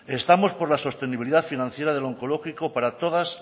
estamos por la sostenibilidad financiera del onkologiko para todas